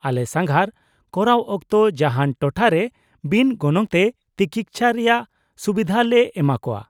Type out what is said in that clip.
-ᱟᱞᱮ ᱥᱟᱸᱜᱷᱟᱨ ᱠᱚᱨᱟᱣ ᱚᱠᱛᱚ ᱡᱟᱦᱟᱱ ᱴᱚᱴᱷᱟᱨᱮ ᱵᱤᱱ ᱜᱚᱱᱚᱝ ᱛᱮ ᱛᱤᱠᱤᱪᱪᱷᱟ ᱨᱮᱭᱟᱜ ᱥᱩᱵᱤᱫᱷᱟ ᱞᱮ ᱮᱢᱟ ᱠᱟᱣᱟ ᱾